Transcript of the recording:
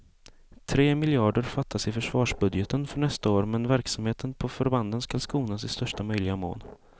Tre miljarder fattas i försvarsbudgeten för nästa år, men verksamheten på förbanden ska skonas i största möjliga mån.